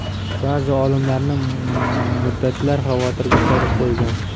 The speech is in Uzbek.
Ba’zi olimlarni muddatlar xavotirga solib qo‘ygan.